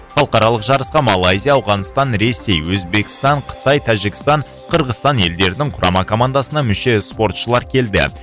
халықаралық жарысқа малайзия ауғанстан ресей өзбекстан қытай тәжікстан қырғызстан елдерінің құрама командасына мүше спортшылар келді